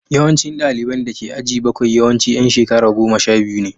Yawancin ɗaliban da ke aji bakwai yawanci ’yan shekara goma sha biyu ne